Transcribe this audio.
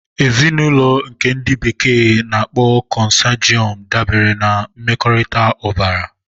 Ezinụlọ nke ndi bekee n'akpo consanguine dabere na mmekọrịta ọbara.